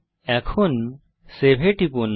এখন সেভ এ টিপুন